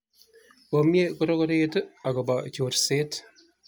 komie korokoret akobo chorset